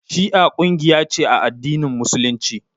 Shi'a kungiya ce a addinin Musulunci.